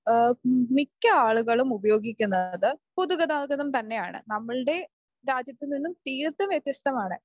മിക്ക ആളുകളും ഉപയോഗിക്കുന്നത് പൊതുഗതാഗതം തന്നെയാണ്. നമ്മുടെ രാജ്യത്ത് നിന്നും തീരത്തും വ്യത്യസ്തമാണ്